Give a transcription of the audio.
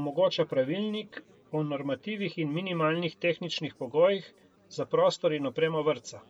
omogoča pravilnik o normativih in minimalnih tehničnih pogojih za prostor in opremo vrtca.